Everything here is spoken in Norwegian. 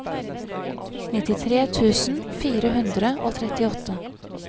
nittitre tusen fire hundre og trettiåtte